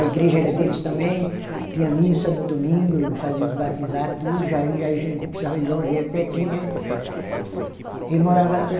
A igreja era deles também, tinha missa no domingo, fazia os batizado, tudo, já ia, aí a gente não precisava ir longe, ia pertinho, né? Ele morava